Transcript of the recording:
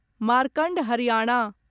Markand Haryana